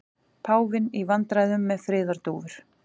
Páfinn í vandræðum með friðardúfur